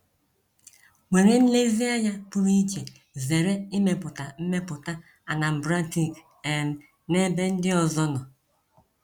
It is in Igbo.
were nlezianya pụrụ iche zere ịmepụta mmetụta Anambratic um n’ebe ndị ọzọ nọ.